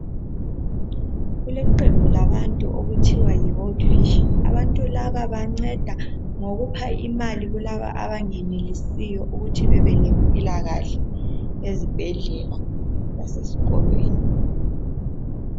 Kuleqembu labantu okuthiwa yiworld vision, abantu laba banceda ngokupha imali kulaba abengenelisiyo ukuthi bebe lempilakahle ezibhedlela laseskolweni.